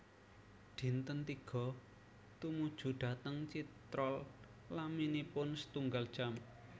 Dinten tiga Tumuju dhateng Chitral laminipun setunggal jam